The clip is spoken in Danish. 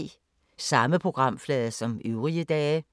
Samme programflade som øvrige dage